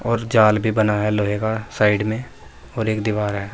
और जाल भी बना है लोहे का साइड में और एक दीवार है।